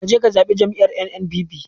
Kaje ka zabi jam'iyar NNPP